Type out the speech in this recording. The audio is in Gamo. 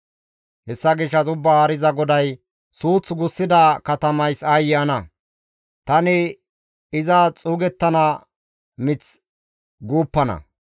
«Hessa gishshas Ubbaa Haariza GODAY, ‹Suuth gussida katamays aayye ana! Tani iza xuugettana mith guuppana.